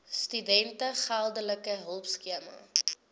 studente geldelike hulpskema